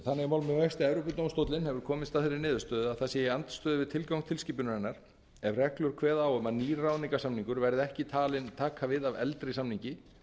með vexti að evrópudómstóllinn hefur komist að þeirri niðurstöðu að það sé í andstöðu við tilgang tilskipunarinnar ef reglur kveða á um að nýr ráðningarsamningur verði ekki talinn taka við af eldri samningi